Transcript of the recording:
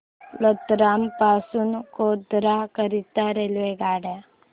रतलाम पासून गोध्रा करीता रेल्वेगाड्या